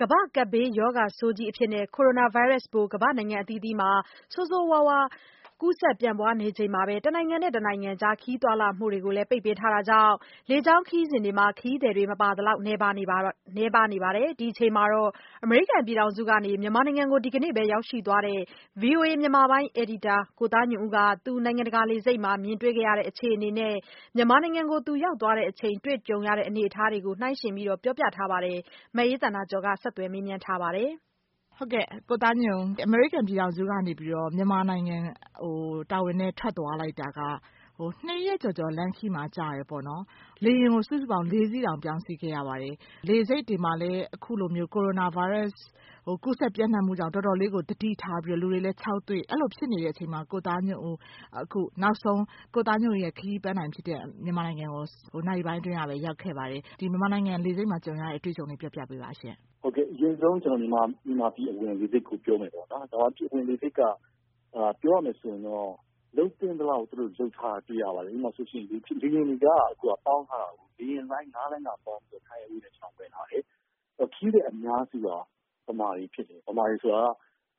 ကမ္ဘာ့ကပ်ဘေးရောဂါဆိုးကြီးအဖြစ် ကိုရိုနာဗိုင်းရပ်စ်ပိုး ကမ္ဘာ့နိုင်ငံအသီးသီးမှာ ဆိုးဆိုးရွားရွား ကူးစက်ပြန့်ပွားနေချိန် တနိုင်ငံနဲ့ တနိုင်ငံ ခရီးသွားလာမှုတွေကို ပိတ်ပင်ထားတာကြောင့် လေကြောင်းခရီးစဉ်တွေမှာ ခရီးသည် မပါသလောက် နည်းပါးနေတာပါ။ ဒီအချိန်မှာ အမေရိကန်ပြည်ထောင်စုကနေ မြန်မာနိုင်ငံ ရန်ကုန်မြို့ကို ဒီကနေ့ပဲ ရောက်ရှိသွားတဲ့ ဗွီအိုအေမြန်မာပိုင်း အယ်ဒီတာ ကိုသားညွန့်ဦး သူ နိုင်ငံတကာ လေဆိပ်တွေမှာ မြင်တွေ့ခဲ့ရတဲ့ အခြေအနေနဲ့ မြန်မာနိုင်ငံကို သူရောက်သွားချိန် တွေ့ကြုံရတဲ့ အနေအထားတွေကို နှိုင်းယှဉ်ပြောပြထားပါတယ်။ မအေးသန္တာကျော် ဆက်သွယ်မေးမြန်းထားပါတယ်။ မအေးသန္တာကျော် - ကိုသားညွန့်ဦး အမေရိကန်ပြည်ထောင်စုကနေ မြန်မာနိုင်ငံကို တာဝန်နဲ့ ထွက်သွားလိုက်တာက ၂ ရက်ကျော်ကျော် လမ်းခရီးမှာ ကြာပြီး လေယာဉ်ကို စုစုပေါင်း ၄ စီးတောင် ပြောင်းစီးခဲ့ရပါတယ်။ လေဆိပ်တွေမှာလည်း ကိုရိုနာဗိုင်းရပ်စ် ကူးစက်ပျံ့နှံ့မှုကြောင့် တော်တော်လေးကို သတိထားပြီး လူတွေလည်း ခြောက်သွေ့၊ အဲဒီလိုဖြစ်နေတဲ့အချိန်မှာ ကိုသားညွန့်ဦးရဲ့ ခရီးပန်းတိုင်ဖြစ်တဲ့ မြန်မာနိုင်ငံကို နာရီပိုင်းအတွင်းကပဲ ရောက်ခဲ့ပါတယ်။ မြန်မာနိုင်ငံ လေဆိပ်မှာ ကြုံရတဲ့ အတွေ့အကြုံလေး ပြောပြပေးပါ။ ကိုသားညွန့်ဦး - “အရင်ဆုံး ကျနော် မြန်မာပြည်အဝင် လေဆိပ်ကို ပြောပါမယ်။ မြန်မာပြည်အဝင် လေဆိပ်က ပြောရမယ်ဆိုရင် လုပ်သင့်သလောက် လုပ်ထားတာ တွေ့ရပါတယ်။ ဥပမာ လေယာဉ်တွေက အခု ပေါင်းထားတာကိုး၊ လေယာဉ်လိုင်း ငါးလိုင်းစာပေါင်းပြီး Thai Airway နဲ့ ကျနော်ဝင်လာတယ်။ ခရီးသည်အများစုက ဗမာတွေဖြစ်တယ်။ ဗမာတွေဆိုတာက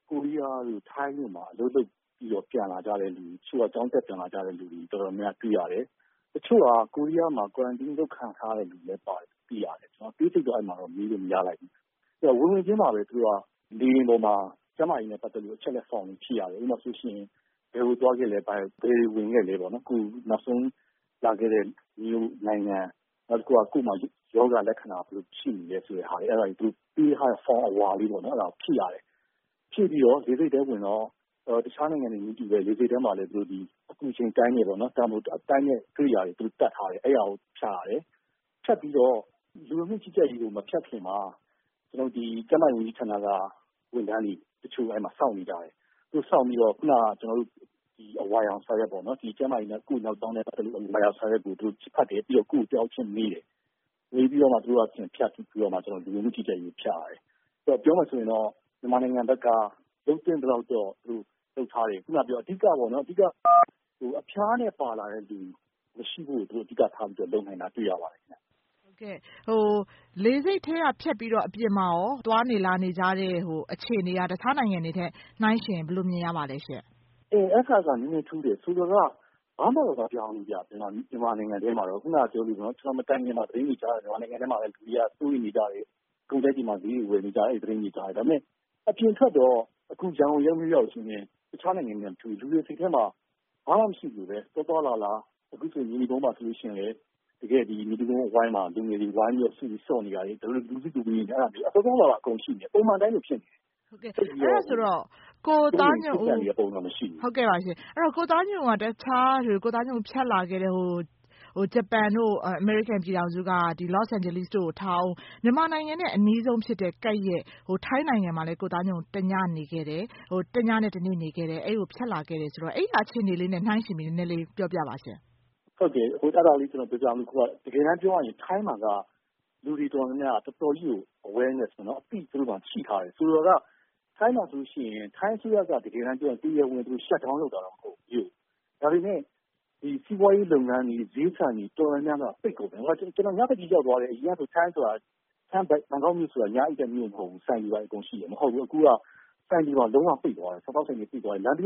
ကိုရီးယားတို့ ထိုင်းတို့မှာ အလုပ်လုပ်ပြီး ပြန်လာကြတဲ့လူတွေ၊ တချို့က ကျောင်းတက် ပြန်လာကြတဲ့လူတွေ တော်တော်များများ တွေ့ရတယ်။ တချို့က ကိုရီးယားမှာ Quarantine လုပ်ခံထားရတဲ့ လူတွေလည်း ပါတယ်လို့ သိရတယ်။ ကျနော် အသေးစိတ်တော့ အဲဒီမှာ မေးလို့မရလိုက်ဘူး။ “ဝင်ဝင်ချင်းမှာပဲ လေယာဉ်ပေါ်မှာ ကျန်းမာရေးနဲ့ ပတ်သက်တဲ့ အချက်အလက် Form တွေ ဖြည့်ရတယ်။ ဥပမာ ဘယ်ကိုသွားခဲ့လဲ၊ ဘယ်တွေဝင်ခဲ့လဲ၊ အခုနောက်ဆုံး လာခဲ့တဲ့နိုင်ငံ၊ ကိုယ့်မှာ ရောဂါလက္ခဏာ ဘယ်လိုရှိနေလဲ ဆိုတဲ့ဟာ၊ သူတို့ပေးထားတဲ့ Form အဝါလေး အဲဒါ ဖြည့်ရတယ်။ ဖြည့်ပြီးတော့ လေဆိပ်ထဲဝင်တော့ တခြားနိုင်ငံတွေနည်းတူပဲ လေဆိပ်ထဲမှာလည်း အပူချိန်တိုင်းတဲ့ ကိရိယာတွေ တပ်ထားတယ်။ အဲဒါကို ဖြတ်ရတယ်။ ဖြတ်ပြီးတော့ လူဝင်မှုကြီးကြပ်ရေးကို မဖြတ်ခင်မှာ ကျန်းမာရေးဝန်ကြီးဌာနက ဝန်ထမ်းတွေ စောင့်နေကြတယ်။ စောင့်ပြီးတော့ ခုနက အဝါရောင်စာရွက်ပေါ့၊ ကျန်းမာရေးနဲ့ ကိုယ့်နောက်ကြောင်းနဲ့ပတ်သက်လို့ အဝါရောင်စာရွက်ကို သူတို့ ဖတ်တယ်။ ပြီးတော့ တယောက်ချင်းမေးတယ်။ မေးပြီးတော့မှ လူဝင်မှုကြီးကြပ်ရေးကို ဖြတ်ရတယ်။ ပြောမယ်ဆိုရင်တော့ မြန်မာနိုင်ငံဘက်က လုပ်သင့်သလောက်တော့ သူတို့ လုပ်ထားတယ်။ အဓိကတော့ အဖျားနဲ့ပါလာတဲ့လူ မရှိဖို့ သူတို့ အဓိကထား လုပ်နိုင်တာ တွေ့ရပါတယ်။” မအေးသန္တာကျော် - လေဆိပ်ထဲကဖြတ်ပြီးတော့ အပြင်မှာရော သွားနေ လာနေကြတဲ့ အခြေအနေက တခြားနိုင်ငံတွေနဲ့ နှိုင်းယှဉ်ရင် ဘယ်လိုမြင်ရပါသလဲ။ ကိုသားညွန့်ဦး - “အဲဒါတော့ နည်းနည်းထူးတယ်။ ဆိုလိုတာက ဘာမှကို မပြောင်းဘူး မြန်မာနိုင်ငံတွင်းမှာတော့။ ကျနော် မတိုင်ခင်မှာ သတင်းတွေကြားတယ်၊ မြန်မာနိုင်ငံတွင်းမှာ လူတွေက စိုးရိမ်နေကြတယ်၊ ကုန်တိုက်တွေမှာ ဈေးတွေ ဝယ်နေကြတယ်၊ အဲဒီသတင်းတွေ ကြားတယ်။ ဒါပေမယ့် အပြင်ထွက်တော့ အခု ရန်ကုန်ရုံး ရောက်ရောက်ချင်းပဲ၊ တခြားနိုင်ငံတွေနဲ့ မတူဘူး။ လူတွေစိတ်ထဲမှာ ဘာမှမရှိသလိုပဲ။ သွားသွားလာလာ၊ အခုဆို မြေနီကုန်းမှာဆိုလည်း မြေနီကုန်းအဝိုင်းမှာ လူငယ်တွေ ဝိုင်းပြီး စုပြီး ဆော့နေတာတွေ၊ လူစုလူဝေး သွားသွားလာလာ အကုန်ရှိနေတယ်။ ပုံမှန်အတိုင်းလို ဖြစ်နေတယ်။ သိပ်ပြီးတော့ စိုးရိမ်နေတဲ့ပုံစံ မရှိဘူး။” မအေးသန္တာကျော် - ကိုသားညွန့်ဦး တခြား ဖြတ်လာခဲ့တဲ့ ဂျပန်တို့ အမေရိကန်ပြည်ထောင်စုက လော့စ်အိန်ဂျလိစ်တို့ကို ထားဦး၊ မြန်မာနိုင်ငံနဲ့ အနီးဆုံးကပ်လျက် ထိုင်းနိုင်ငံမှာလည်း တညနဲ့တနေ့ နေခဲ့တယ်၊ အဲဒီကို ဖြတ်လာခဲ့တယ်ဆိုတော့ အဲဒီကအခြေအနေလေးနဲ့ နှိုင်းယှဉ်ပြီး ပြောပြပါ။ ကိုသားညွန့်ဦး - “တကယ်တမ်းပြောရရင် ထိုင်းမှာက လူတွေ တော်တော်များများက တော်တော်ကြီးကို Awarness ပေါ့နော်၊ အသိ သူတို့မှာ ရှိထားတယ်။ ဆိုလိုတာက ထိုင်းမှာဆိုရင် ထိုင်းအစိုးရက တကယ်တမ်းပြောရင် တရားဝင် Shut-down လုပ်တာတော့ မဟုတ်ဘူး မြို့ကို။ ဒါပေမယ့် စီးပွားရေးလုပ်ငန်းတွေ ဈေးဆိုင်တွေ တော်တော်များများက ပိတ်ကုန်တယ်။ ကျနော် ညဘက်ကြီးရောက်သွားတယ်၊ အရင်ကဆို ဘန်ကောက်မြို့ဆိုတာ ညအိပ်တဲ့မြို့ မဟုတ်ဘူး။ ဆိုင်တွေဘာတွေ အကုန်ရှိတယ်။ အခုက ဆိုင်တွေပါ လုံးဝပိတ်သွားတယ်။ စားသောက်ဆိုင်တွေ ပိတ်သွားတယ်။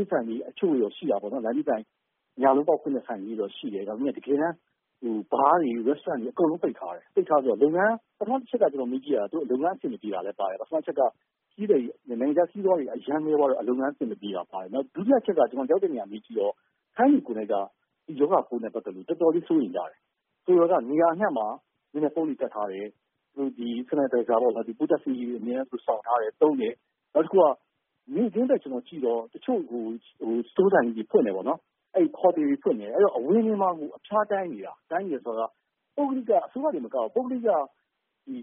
ညလုံးပေါက်ဖွင့်တဲ့ လမ်းဘေးဆိုင် တချို့တော့ ရှိတယ်။ တကယ်တမ်း Bar တွေ၊ Restaurants တွေ အကုန်လုံး ပိတ်ထားတယ်။ “ပထမအချက် ကျနော် မေးကြည့်တာ သူတို့ လုပ်ငန်း အဆင်မပြေတာလည်း ပါတယ်။ နိုင်ငံခြားခရီးသည်တွေ အရမ်းနည်းသွားတော့ လုပ်ငန်းအဆင်မပြေတာလည်း ပါတယ်။ ဒုတိယအချက်က ကျနော်ရောက်တဲ့နေရာ မေးကြည့်တော့ ထိုင်းတွေကိုယ်နှိုက်က ဒီရောဂါပိုးနဲ့ ပတ်သက်လို့ တော်တော်လေး စိုးရိမ်ကြတယ်။ နေရာအနှံ့မှာ မျက်နှာဖုံးတွေ တပ်ထားတယ်၊ Sanitizer ပိုးသတ်ဆေးရည်တွေ အမြဲတမ်း ဆောင်ထားတယ်၊ သုံးတယ်၊ နောက်တခုက မြို့တွင်းဘက်ကြည့်တော့ တချို့ စတိုးဆိုင်ကြီးတွေ ဖွင့်တယ်၊ ဟိုတယ်တွေ ဖွင့်တယ်၊ အဝင်တွေမှာကို အဖျားတိုင်းနေတာ။ တိုင်းနေတယ်ဆိုတာက အစိုးရတင် မကဘူး၊ ပုဂ္ဂလိက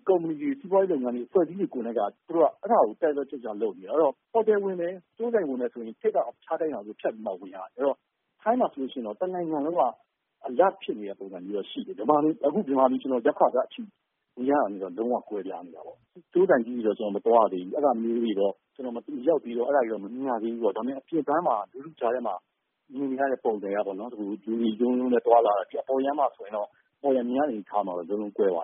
ကုမ္ပဏီတွေ၊ စီးပွားရေးလုပ်ငန်းတွေ၊ အဖွဲ့အစည်းတွေ ကိုယ်တိုင်က အဲဒါကို တက်တက်ကြွကြွ လုပ်နေတယ်။ ဟိုတယ်ဝင်တယ်၊ စတိုးဆိုင်ဝင်တယ်ဆိုရင် ထိပ်က အဖျားတိုင်းတာကို ဖြတ်ပြီးမှ ဝင်ရတယ်။ ထိုင်းမှာဆိုရင်တော့ တနိုင်ငံလုံးက Alert ဖြစ်နေတဲ့ပုံစံတော့ ရှိတယ်။ အခု မြန်မာပြည် ကျနော် ရောက်ခါစ မြင်ရတာနဲ့တော့ လုံးဝ ကွဲပြားနေတာပေါ့။ စတိုးဆိုင်ကြီးတွေတော့ ကျနော် မသွားရသေးဘူး။ အဲဒါမျိုးတွေတော့ ကျနော် မရောက်သေးတော့ အဲဒါတွေတော့ မမြင်ရသေးဘူးပေါ့။ ဒါပေမယ့် အပြင်ပန်း လူထုကြားထဲမှာ မြင်နေရတဲ့ ပုံစံကတော့ လူတွေ တရုန်းရုန်းနဲ့ သွားလာနေကြတာ။ အပေါ်ယံမြင်ရတဲ့ အနေအထားမှာတော့ လုံးလုံးကွဲပါတ